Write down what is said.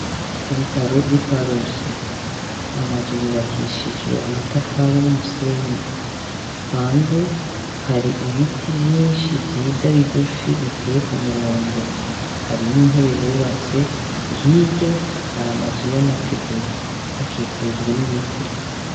Ku bitaro vy'i Karusi amazu yubakishijwe amatafari n'umusenyi. Hanze hari ibiti vyinshi vyiza bigufi biteye ku murongo. Hari n'intebe bubatse, hirya hari amazu y'amategura. Hakikujwe n'ibiti.